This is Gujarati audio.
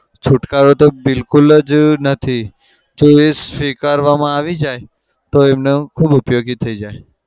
છુટકારો તો બિલકુલ જ નથી. જો એ સ્વીકારવામાં આવી જાય તો એમને ખુબ ઉપયોગી થઇ જાય.